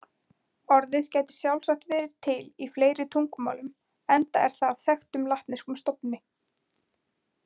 Orðið gæti sjálfsagt verið til í fleiri tungumálum enda er það af þekktum latneskum stofni.